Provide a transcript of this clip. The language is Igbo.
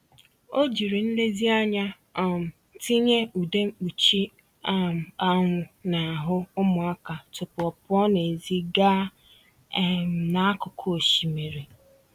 O jiri nlezianya um tinye ude mkpuchi um anwụ n'ahụ ụmụaka tupu ọ pụọ n'èzí gaa um n'akụkụ osimiri.